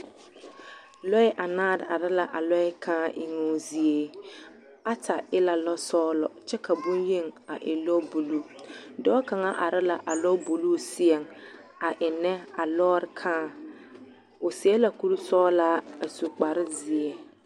Lɔɛ anaare are la a lɔɛ kãã eŋoo zie, ata e la lɔsɔgelɔ kyɛ ka bonyeni a e lɔbuluu, dɔɔ kaŋa are la a lɔbuluu seɛŋ a ennɛ a lɔɔre kãã, o seɛ la kuri sɔgelaa a su kpare zeɛ.